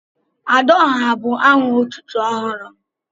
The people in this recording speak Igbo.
"Adaọhá" bu aha otútú ọhụrụ m